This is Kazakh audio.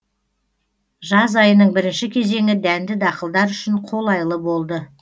жаз айының бірінші кезеңі дәнді дақылдар үшін қолайлы болды